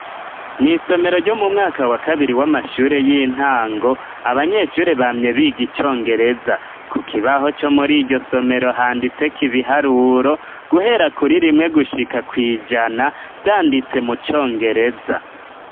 Mw'isomero ryo mu mwaka wa kabiri w'amashure y'intango, abanyeshure bamye biga icongereza, ku kibaho co muri iryo somero handitseko ibiharuro guhera kuri rimwe gushika kw'ijana vyanditse mu congereza.